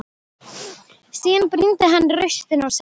Síðan brýndi hann raustina og sagði: